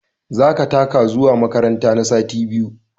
Za ka taka zuwa makaranta na sati biyu!